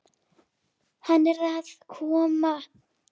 Hann er að koma.